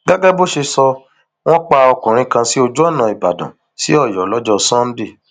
gẹgẹ bó ṣe sọ wọn pa ọkùnrin kan sí ojú ọnà ìbàdàn sí ọyọ lọjọ sànńdẹ